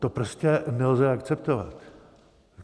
To prostě nelze akceptovat.